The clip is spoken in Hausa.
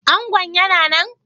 Angon yana nan?